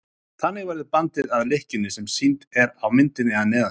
Þannig verður bandið að lykkjunni sem sýnd er á myndinni að neðan.